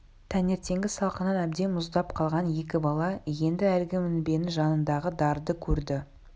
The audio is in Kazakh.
таңертеңгі салқыннан әбден мұздап қалған екі бала енді әлгі мінбенің жанындағы дарды көрді